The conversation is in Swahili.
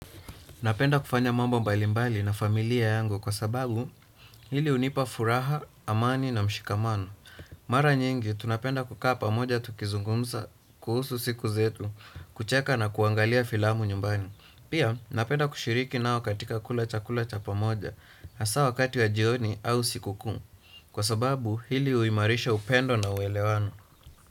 Napenda kufanya mambo mbalimbali na familia yangu kwa sababu hili hunipa furaha, amani na mshikamano. Mara nyingi, tunapenda kukaa pamoja tukizungumza, kuhusu siku zetu, kucheka na kuangalia filamu nyumbani. Pia, napenda kushiriki nao katika kula chakula cha pamoja na saa wakati wa jioni au sikukuu. Kwa sababu hili uhimarisha upendo na uelewano.